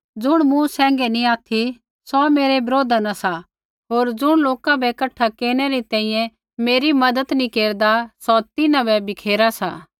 ज़ुण मूँ सैंघै नी ऑथि सौ मेरै बरोधा न सा होर ज़ुण लोका बै कठा केरनै री तैंईंयैं मेरी मज़त नी केरदा सौ तिन्हां बै बिखेरा सा